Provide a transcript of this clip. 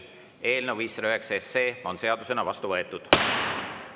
Eelnõu 509 on seadusena vastu võetud.